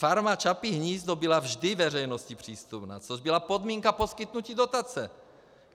Farma Čapí hnízdo byla vždy veřejnosti přístupná, což byla podmínka poskytnutí dotace.